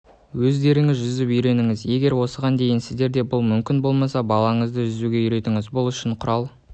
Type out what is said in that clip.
өздеріңіз жүзіп үйреніңіз егер осыған дейін сіздерге бұл мүмкін болмаса балаңызды жүзуге үйретіңіз бұл үшін құрал